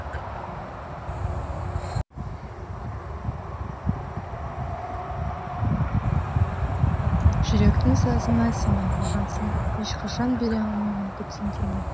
жүректің сазына сен айналғансың ешқашан бере алмаймын бөтенге мен